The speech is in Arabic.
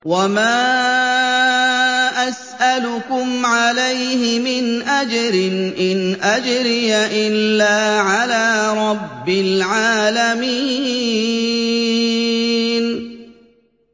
وَمَا أَسْأَلُكُمْ عَلَيْهِ مِنْ أَجْرٍ ۖ إِنْ أَجْرِيَ إِلَّا عَلَىٰ رَبِّ الْعَالَمِينَ